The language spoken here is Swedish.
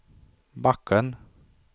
backen